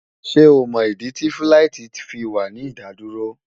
Ṣé o mọ̀ ìdí tí fíláìtí fi wà ní ìdádúró?